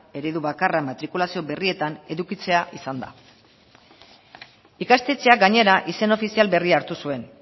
eredu bakarra matrikulazio berrietan edukitzea izan da ikastetxeak gainera izen ofizial berria hartu zuen